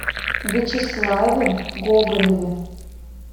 вячеславе гоголеве